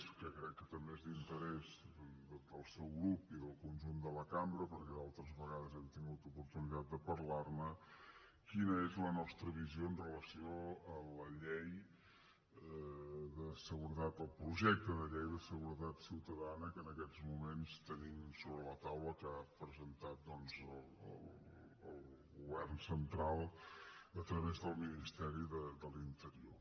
que crec que també és d’interès del seu grup i del conjunt de la cambra perquè altres vegades hem tingut oportunitat de parlar ne quina és la nostra visió amb relació a la llei de seguretat del projecte de llei de seguretat ciutadana que en aquests moments tenim sobre la taula que ha presentat el govern central a través del ministeri de l’interior